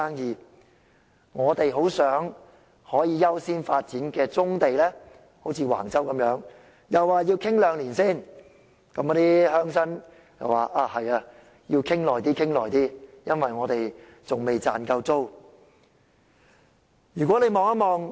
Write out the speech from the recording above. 至於我們很想優先發展的棕地，就如橫洲項目一樣，政府又說要先討論兩年，那些鄉紳也說要多討論，因為他們仍未賺夠租金。